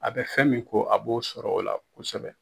A bɛ fɛn min ko, a b'o sɔrɔ o la kosɛbɛ.